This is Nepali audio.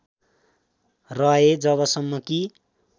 रहे जबसम्म कि